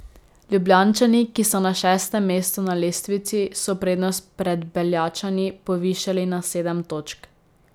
Ljubljančani, ki so na šestem mestu na lestvici, so prednost pred Beljačani povišali na sedem točk.